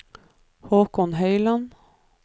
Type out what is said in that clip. Haakon Høyland